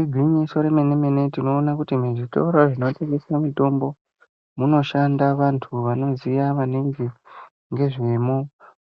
Igwinyiso remene-mene tinona kuti muzvitoro zvinotengese mitombo munoshanda vantu vanoziya vange ngezvemo,